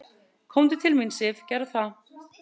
"""Komdu til mín, Sif, gerðu það."""